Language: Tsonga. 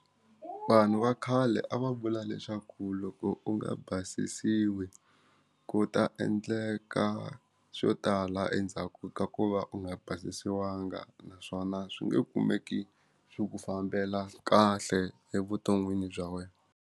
Vanhu va khale a va vula leswaku loko u nga basisiwi ku ta endleka swo tala endzhaku ka ku va u nga basisiwanga naswona swi nge kumeki swi ku fambela kahle evuton'wini bya wena.